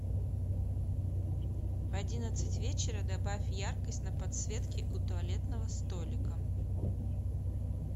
в одиннадцать вечера добавь яркость на подсветке у туалетного столика